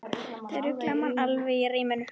Þau rugla mann alveg í ríminu.